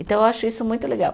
Então, eu acho isso muito legal.